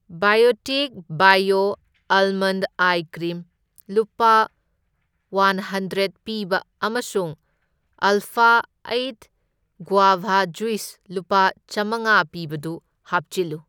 Biotique bio ꯑꯥꯜꯃꯟꯗ ice cream ꯂꯨꯄꯥ ꯋꯥꯟꯍꯟꯗ꯭ꯔꯦꯟ ꯄꯤꯕ ꯑꯃꯁꯨꯡ ꯑꯜꯐꯥ ꯑꯩꯠ ꯒꯉꯋꯥꯚꯥ ꯖꯨꯢꯁ ꯂꯨꯄꯥ ꯆꯥꯝꯃꯉꯥ ꯄꯤꯕꯗꯨ ꯍꯥꯞꯆꯤꯜꯂꯨ꯫